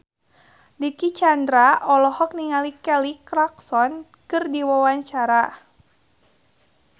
Dicky Chandra olohok ningali Kelly Clarkson keur diwawancara